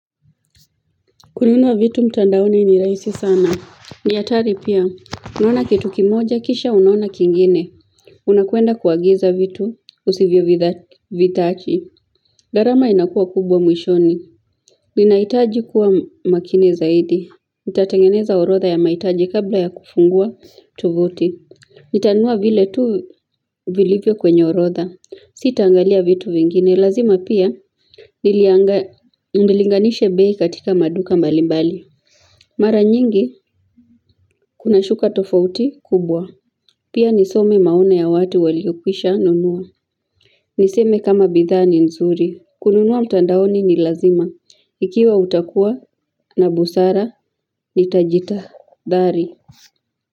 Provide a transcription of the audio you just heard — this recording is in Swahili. Kununuwa vitu mtandaoni ni rahisi sana, nihatari pia unaona kitu kimoja kisha unaona kingine Unakwenda kuagiza vitu usivyo vitaki gharama inakuwa kubwa mwishoni Ninahitaji kuwa makini zaidi nitatengeneza orodha ya mahitaji kabla ya kufungua tovuti Nitanua vile tu vilivyo kwenye orodha sitaangalia vitu vingine lazima pia, nilinganishe bei katika maduka mbali mbali. Mara nyingi, kuna shuka tofauti kubwa. Pia nisome maoni ya watu waliokwisha nunua. Niseme kama bidhaa ni nzuri. Kununua mtandaoni ni lazima. Ikiwa utakua na busara, nitajitahadhari.